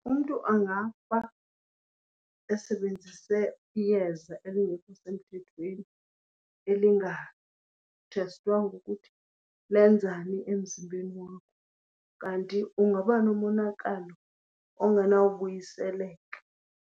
Umntu angafa esebenzise iyeza elingekho semthethweni elingathestwanga ukuthi lenzani emzimbeni wakho, kanti ungaba nomonakalo ongenawubuyiseleka.